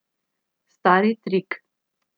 Stari trik.